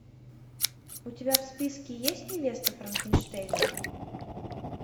у тебя в списке есть невеста франкенштейна